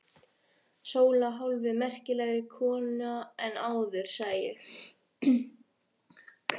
Sóla hálfu merkilegri kona en áður, sagði ég.